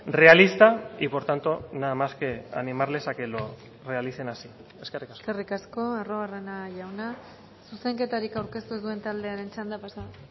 realista y por tanto nada más que animarles a que lo realicen así eskerrik asko eskerrik asko arruabarrena jauna zuzenketarik aurkeztu ez duen taldearen txanda pasa